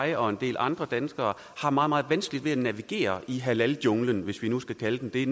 jeg og en del andre danskere har meget meget vanskeligt ved at navigere i halaljunglen hvis vi nu skal kalde den det